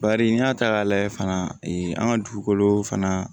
Bari n'i y'a ta k'a lajɛ fana an ka dugukolo fana